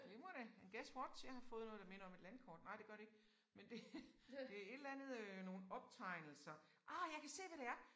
Glimrende men guess what jeg har fået noget der minder om et landkort. Nej det gør det ikke men det det et eller andet øh nogle optegnelser ah jeg kan se hvad det er